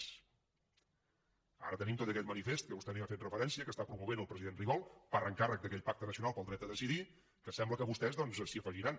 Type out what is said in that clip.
ara tenim tot aquest manifest que vostè no hi ha fet referència que està promovent el president rigol per encàrrec d’aquell pacte nacional pel dret a decidir que sembla que vostès doncs s’hi afegiran